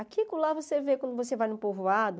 Aqui e co lá você vê, quando você vai no povoado,